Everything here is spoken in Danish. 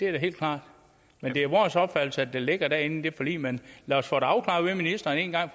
helt klart men det er vores opfattelse at det ligger derinde i det forlig men lad os få det afklaret af ministeren en gang